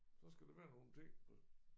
Så skal der være nogle ting på